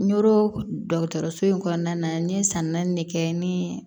Nɔrɔ dɔgɔtɔrɔso in kɔnɔna na n ye san naani de kɛ ni